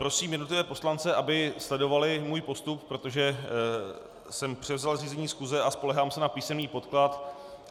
Prosím jednotlivé poslance, aby sledovali můj postup, protože jsem převzal řízení schůze a spoléhám se na písemný podklad.